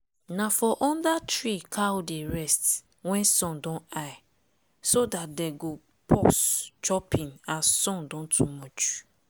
na for under tree cow dey rest wen sun don high so dat dem go pause chopping as sun don too much.